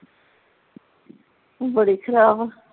ਬੜੀ ਖਰਾਬ ਆ